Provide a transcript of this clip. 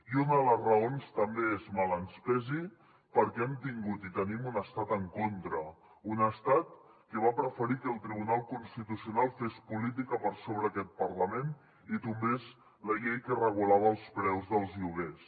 i una de les raons també és mal que ens pesi perquè hem tingut i tenim un estat en contra un estat que va preferir que el tribunal constitucional fes política per sobre d’aquest parlament i tombés la llei que regulava els preus dels lloguers